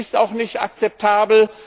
Das ist auch nicht akzeptabel.